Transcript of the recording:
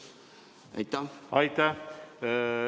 Aitäh!